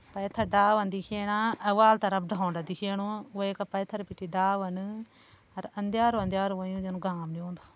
पैथर डावन दिखेणा अ वाल तरफ धौंडा दिखेणु वै का पैथर बिटि डावन अर अंदयारू अंदयारू होयूँ जन घाम नि होंदु।